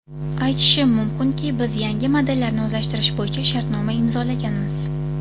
Aytishim mumkinki, biz yangi modellarni o‘zlashtirish bo‘yicha shartnoma imzolaganmiz.